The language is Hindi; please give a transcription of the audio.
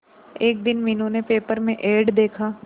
एक दिन मीनू ने पेपर में एड देखा